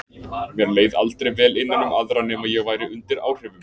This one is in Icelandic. Mér leið aldrei vel innan um aðra nema ég væri undir áhrifum.